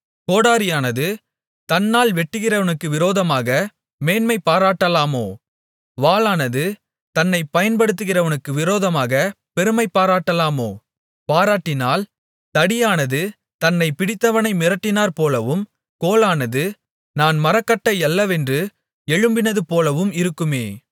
கோடரியானது தன்னால் வெட்டுகிறவனுக்கு விரோதமாக மேன்மைபாராட்டலாமோ வாளானது தன்னைப் பயன்படுத்துகிறவனுக்கு விரோதமாகப் பெருமைபாராட்டலாமோ பாராட்டினால் தடியானது தன்னைப் பிடித்தவனை மிரட்டினாற்போலவும் கோலானது நான் மரக்கட்டையல்லவென்று எழும்பினதுபோலவும் இருக்குமே